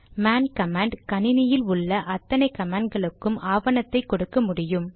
man command கணினியில் உள்ள அத்தனை கமாண்ட் களுக்கும் ஆவணத்தை கொடுக்க முடியும்